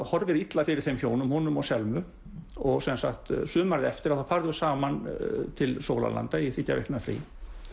horfir illa fyrir þeim hjónum honum og Selmu sumarið eftir þá fara þau saman til sólarlanda í þriggja vikna frí